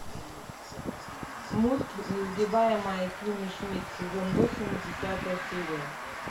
мульт несгибаемая кимми шмидт сезон восемь десятая серия